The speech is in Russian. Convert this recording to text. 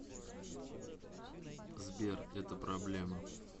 сбер это проблема